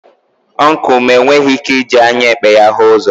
Ọncụl m enweghị ike iji anya ekpe ya hụ ụzọ.